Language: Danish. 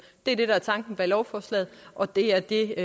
det er det der er tanken bag lovforslaget og det er det